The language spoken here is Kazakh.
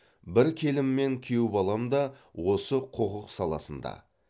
бір келім мен күйеу балам да осы құқық саласында